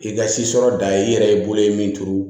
I ka si sɔrɔ da ye i yɛrɛ ye bolo ye min turu